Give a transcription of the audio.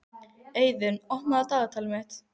Eiðunn, opnaðu dagatalið mitt.